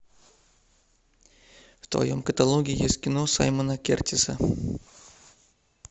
в твоем каталоге есть кино саймона кертиса